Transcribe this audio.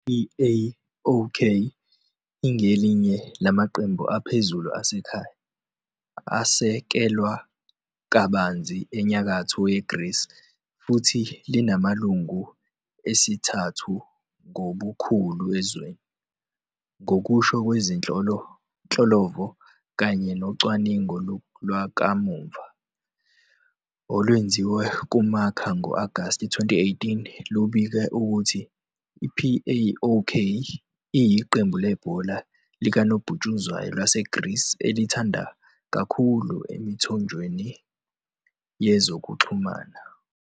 -PAOK ingelinye lamaqembu aphezulu asekhaya, asekelwa kabanzi eNyakatho yeGreece futhi linamalungu esithathu ngobukhulu ezweni, ngokusho kwezinhlolo-vo kanye nocwaningo lwakamuva. olwenziwa nguMarca ngo-Agasti 2018, lubike ukuthi i-PAOK iyiqembu lebhola likanobhutshuzwayo laseGrisi elithandwa kakhulu emithonjeni yezokuxhumana.